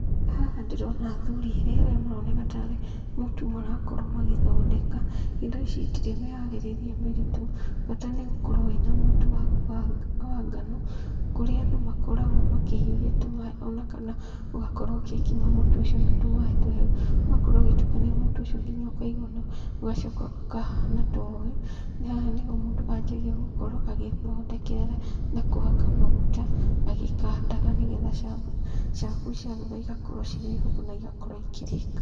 Haha ndĩrona athuri erĩ arĩa maroneka tarĩ mũtu marakorwo magĩthondeka, indo ici itirĩ mĩharĩrie mĩritũ, bata nĩ gũkorwo wĩna mũtu waku wa wa ngano, kũrĩa andũ makoragwo makĩhiũhia tũmaĩ ona kana ũgakorwo ũgĩkima mũtu ũcio na tũmaĩ tũhehu, ũgakorwo ũgĩtukania mũtu ũcio nginya ũkaigwa nĩ wa ũgacoka ũkahana ta ũyũ, haha nĩho mũndũ anjagia gũkorwo agĩthondekerera na kũhaka maguta, agĩkandaga nĩgetha chapo, chapo ciarugwo igakorwo cirĩ hũthũ na igakorwo ikĩrĩka.